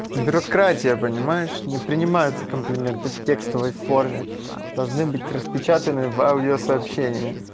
бирократия понимаешь не принимаются комплименты в текстовой форме должны быть распечатаны в аудио сообщение